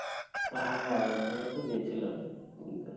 হ্যাঁ ওখানে তো গেছিলামই, পুরীতে